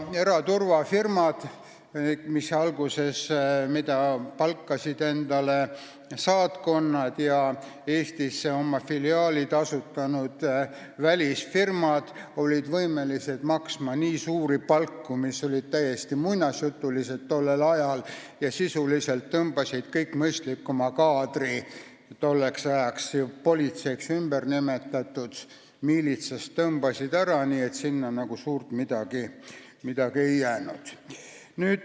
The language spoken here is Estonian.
Eraturvafirmad, mida palkasid saatkonnad ja Eestis oma filiaalid asutanud välisfirmad, olid võimelised maksma nii suuri palku, mis olid tollel ajal täiesti muinasjutulised, ja sisuliselt tõmbasid nad miilitsast, mis tolleks ajaks oli politseiks ümber nimetatud, ära kogu mõistlikuma kaadri, nii et sinna nagu suurt midagi ei jäänud.